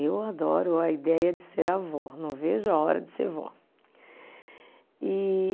Eu adoro a ideia de ser avó, não vejo a hora de ser vó. (aspiração) E